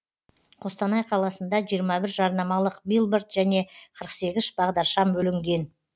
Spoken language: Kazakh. қостанай қаласында жиырма бір жарнамалық билборд және қырық сегіз бағдаршам бүлінген